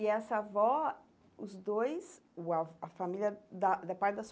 E essa avó, os dois, o avô a família da da parte da sua